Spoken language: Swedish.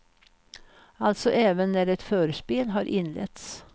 Alltså även när ett förspel har inletts.